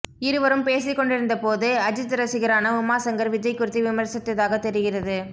இருவரும் பேசிக்கொண்டிருந்த போது அஜித் ரசிகரான உமா சங்கர் விஜய் குறித்து விமர்சித்ததாக தெரிகிறது